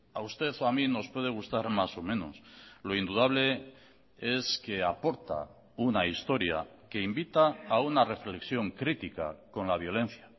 a usted o a mí nos puede gustar más o menos lo indudable es que aporta una historia que invita a una reflexión crítica con la violencia